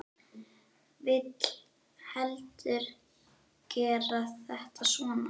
Vil heldur gera þetta svona.